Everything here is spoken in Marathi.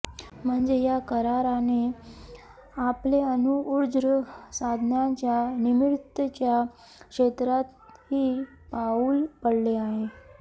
म्हणजे या कराराने आपले अणु ऊर्जा साधनांच्या निर्मितीच्या क्षेत्रातही पाऊल पडले आहे